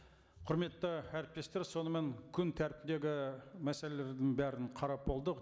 құрметті әріптестер сонымен күн тәртібіндегі мәселелердің бәрін қарап болдық